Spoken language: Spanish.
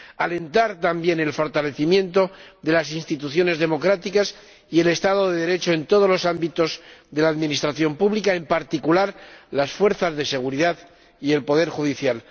Hemos de alentar, también, el fortalecimiento de las instituciones democráticas y el Estado de Derecho en todos los ámbitos de la administración pública, en particular, las fuerzas de seguridad y el poder judicial.